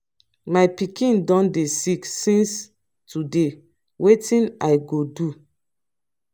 my pikin don dey sick since today wetin i go do?